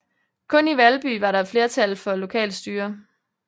Kun i Valby var der et flertal for lokalt styre